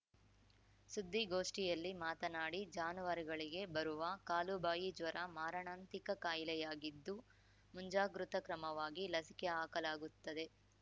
ಸುದ್ದಿಗೋಷ್ಠಿಯಲ್ಲಿ ಮಾತನಾಡಿ ಜಾನುವಾರುಗಳಿಗೆ ಬರುವ ಕಾಲುಬಾಯಿ ಜ್ವರ ಮಾರಣಾಂತಿಕ ಕಾಯಿಲೆಯಾಗಿದ್ದು ಮುಂಜಾಗೃತ ಕ್ರಮವಾಗಿ ಲಸಿಕೆ ಹಾಕಲಾಗುತ್ತದೆ